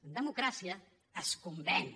en democràcia es convenç